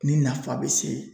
Nin nafa bɛ se